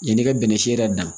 Yanni i ka bɛnɛ si yɛrɛ dan